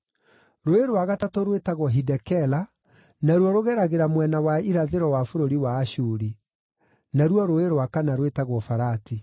Rũũĩ rwa gatatũ rwĩtagwo Hidekela naruo rũgeragĩra mwena wa irathĩro wa bũrũri wa Ashuri. Naruo rũũĩ rwa kana rwĩtagwo Farati.